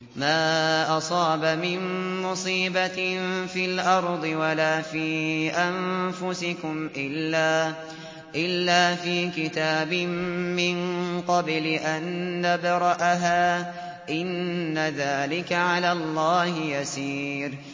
مَا أَصَابَ مِن مُّصِيبَةٍ فِي الْأَرْضِ وَلَا فِي أَنفُسِكُمْ إِلَّا فِي كِتَابٍ مِّن قَبْلِ أَن نَّبْرَأَهَا ۚ إِنَّ ذَٰلِكَ عَلَى اللَّهِ يَسِيرٌ